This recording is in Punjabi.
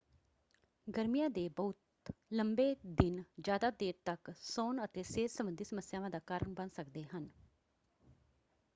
ਗਰਮੀਆਂ ਦੇ ਬਹੁਤ ਲੰਬੇ ਦਿਨ ਜ਼ਿਆਦਾ ਦੇਰ ਤਕ ਸੌਣ ਅਤੇ ਸਿਹਤ ਸੰਬੰਧੀ ਸਮੱਸਿਆਵਾਂ ਦਾ ਕਾਰਨ ਬਣ ਸਕਦੇ ਹਨ।